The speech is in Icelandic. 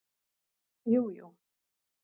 Jú, jú